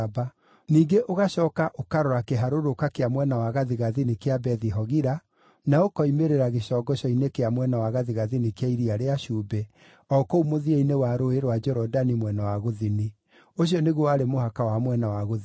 Ningĩ ũgacooka ũkarora kĩharũrũka kĩa mwena wa gathigathini kĩa Bethi-Hogila, na ũkoimĩrĩra gĩcongoco-inĩ kĩa mwena wa gathigathini kĩa Iria rĩa Cumbĩ, o kũu mũthia-inĩ wa Rũũĩ rwa Jorodani mwena wa gũthini. Ũcio nĩguo warĩ mũhaka wa mwena wa gũthini.